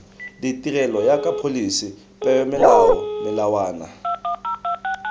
ditirelo jaaka pholisi peomolao melawana